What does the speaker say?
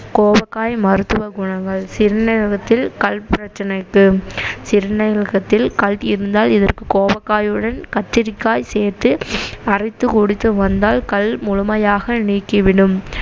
கோவக்காய் மருத்துவ குணங்கள் சிறுநீரகத்தில் கல் பிரச்சனைக்கு சிறுநீரகத்தில் கல் இருந்தால் இதற்கு கோவக்காயுடன் கத்தரிக்காய் சேர்த்து அரைத்து குடித்து வந்தால் கல் முழுமையாக நீக்கிவிடும்